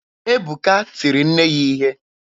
Ebuka tiri nne ya ihe.